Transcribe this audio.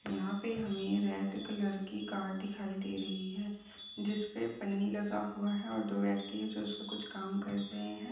यहाँ पे हमे रेड कलर की कार दिखाई दे रही है जिसपे पनी लगा हुए है और दो व्यक्ति जो उसपे कुछ काम कर रहे है।